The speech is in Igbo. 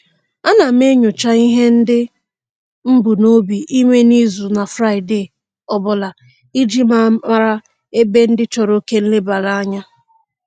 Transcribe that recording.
Ana m enyocha ihe ndị m bunobi ime n'izu na Fraịde ọbụla iji mara ebe ndị chọrọ oke nlebaranya